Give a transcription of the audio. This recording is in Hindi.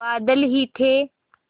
बादल ही थे